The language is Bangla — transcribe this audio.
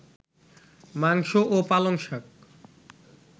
মাংস ও পালংশাক